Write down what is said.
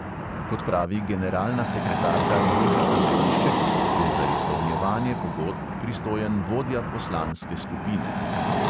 Kot pravi generalna sekretarka jožica velišček, je za izpolnjevanje pogodb pristojen vodja poslanske skupine.